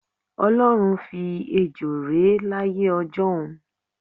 O̩ló̩run fi ejo ré láyé o̩jó̩un.